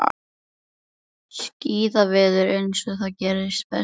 Skíðaveður eins og það gerist best.